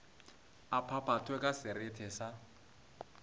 a phaphathwe ka serethe sa